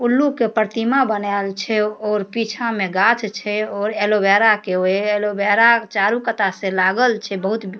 उल्लू के परतीमा बनाएल छे और पीछा में गाछ छे और ऐलोबेरा के वेहे एलोवेरा चारो कटा से लागल छे बहुत --